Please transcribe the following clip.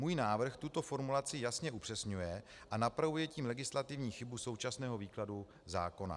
Můj návrh tuto formulaci jasně upřesňuje, a napravuje tím legislativní chybu současného výkladu zákona.